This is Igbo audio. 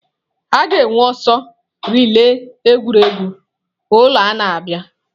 A ga-enwe ọsọ relai egwuregwu ụlọ a na-abịa.